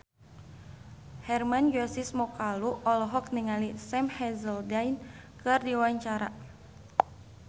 Hermann Josis Mokalu olohok ningali Sam Hazeldine keur diwawancara